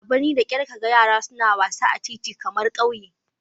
A birni da kyar ka ga yara suna wasa a titi kamar a ƙauye